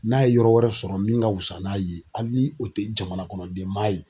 N'a ye yɔrɔ wɛrɛ sɔrɔ min ka wusa n'a ye hali ni o tɛ jamana kɔnɔ den maa ye